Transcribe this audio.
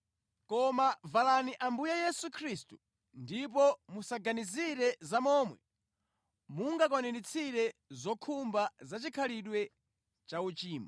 Koma valani Ambuye Yesu Khristu ndipo musaganizire za momwe mungakwaniritsire zokhumba zachikhalidwe cha uchimo.